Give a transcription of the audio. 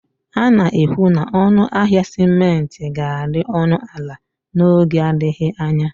A na-ekwu na ọnụ ahịa simenti ga-adị ọnụ ala n'oge adịghị anya